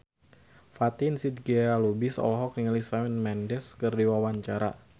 Fatin Shidqia Lubis olohok ningali Shawn Mendes keur diwawancara